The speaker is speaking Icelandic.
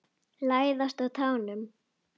Læðast á tánum.